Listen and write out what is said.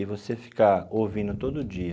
E você ficar ouvindo todo dia,